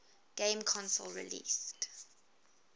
game console released